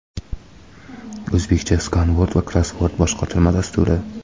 "O‘zbekcha skanvord va krossvord" boshqotirma dasturi.